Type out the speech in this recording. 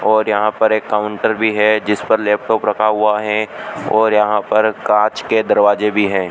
और यहां पर एक काउंटर भी है जिस पर लैपटॉप रखा हुआ है और यहां पर कांच के दरवाजे भी हैं।